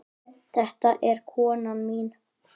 Þetta er konan mín.